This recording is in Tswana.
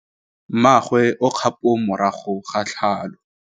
Mmagwe o kgapô morago ga tlhalô.